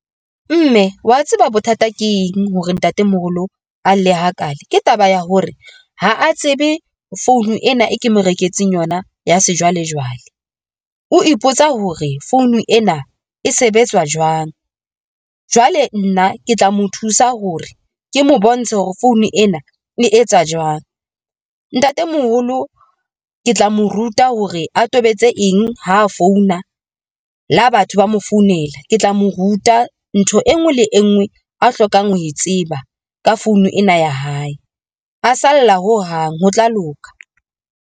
Mme wa tseba bothata ke eng hore ntatemoholo a lle hakaale? Ke taba ya hore ha a tsebe phone ena e ke mo reketseng yona ya sejwalejwale. O ipotsa hore founu ena e sebetsa jwang. Jwale nna ke tla mo thusa hore ke mo bontshe hore phone ena e etsa jwang. Ntatemoholo ke tla mo ruta hore a tobetse eng ho phone na la batho ba mo founela, ke tla mo ruta ntho e nngwe le e nngwe oe hlokang ho e tseba ka fine ena ya hae a salla ho hang, ho tla loka.